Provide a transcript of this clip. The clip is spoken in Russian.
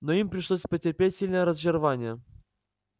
но им пришлось потерпеть сильное разочарование